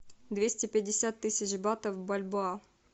двести пятьдесят тысяч батов в бальбоа